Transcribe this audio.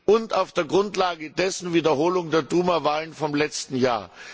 und auf der Grundlage dessen Wiederholung der Duma Wahlen vom letzten Jahr.